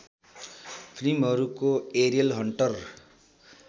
फिल्महरूको aerial hunter